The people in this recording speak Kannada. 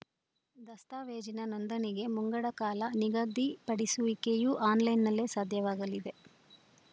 ದಸ್ತಾವೇಜಿನ ನೋಂದಣಿಗೆ ಮುಂಗಡ ಕಾಲ ನಿಗದಿಪಡಿಸುವಿಕೆಯೂ ಆನ್‌ಲೈನ್‌ನಲ್ಲೇ ಸಾಧ್ಯವಾಗಲಿದೆ